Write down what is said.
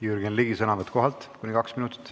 Jürgen Ligi, sõnavõtt kohalt kuni kaks minutit.